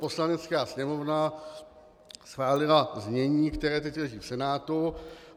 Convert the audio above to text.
Poslanecká sněmovna schválila znění, které teď leží v Senátu.